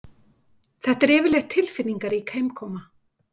Þetta er yfirleitt tilfinningarík heimkoma